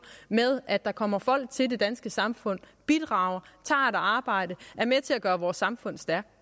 med at der kommer folk til det danske samfund bidrager tager et arbejde er med til at gøre vores samfund stærkt